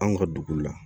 Anw ka dugu la